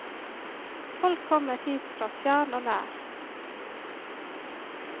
Folk kommer hit fra fjern og nær.